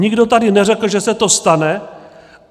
Nikdo tady neřekl, že se to stane.